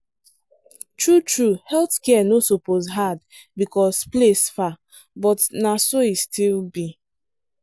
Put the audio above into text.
true true health care no suppose hard because place far but na so e still be.